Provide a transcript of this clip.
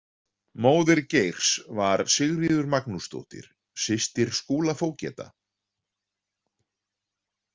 Móðir Geirs var Sigríður Magnúsdóttir, systir Skúla fógeta.